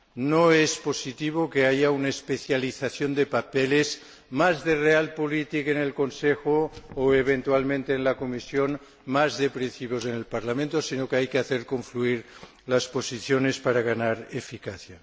No es positivo que haya una especialización de papeles —más de realpolitik en el Consejo o, eventualmente, en la Comisión, más de principios en el Parlamento—, sino que hay que hacer confluir las posiciones para ganar eficacia.